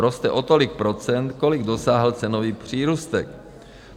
Roste o tolik procent, kolik dosáhl cenový přírůstek.